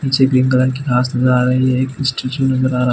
नीचे green colour की घाँस नज़र एक स्ट्रैचिंग नज़र आ रहा --